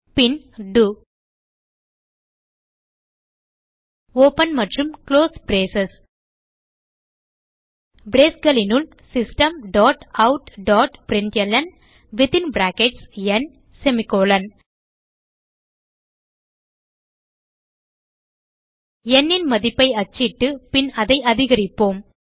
பின் டோ ஒப்பன் மற்றும் close brace braceகளினுள் systemoutபிரின்ட்ல்ன் ந் ன் மதிப்பை அச்சிட்டு பின் அதை அதிகரிப்போம்